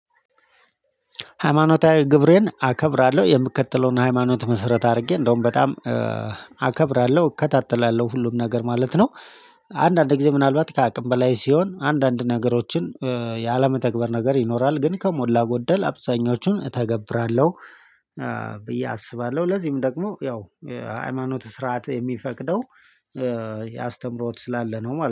ሃይማኖታዊ ግብሬን አከብራለሁ የምከተለውን ሃይማኖት መስረት አድርጌ እንደውም በጣም አከብራለሁ እከታተላለሁ ሁሉም ነገር ማለት ነው። አንዳንድ ጊዜ ምናልባት ከአቅም በላይ ሲሆን አንዳንድ ነገሮችን ያለመተግበር ነገር ይኖራል ግን ከሞላ ጎደል አብዛኞቹን እተገብራለሁ። ብዬ አስባለሁ ለዚህም ደግሞ ያው ሃይማኖት ስርዓት የሚፈቅደው ያስተምሮት ስላለ ነው ማለት ነው